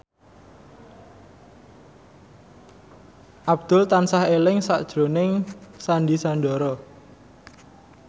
Abdul tansah eling sakjroning Sandy Sandoro